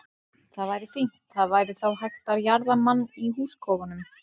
Það væri fínt, það væri þá hægt að jarða mann í húskofanum.